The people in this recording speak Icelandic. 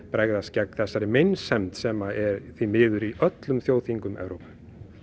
bregðast gegn þessari meinsemd sem er því miður í öllum þjóðþingum Evrópu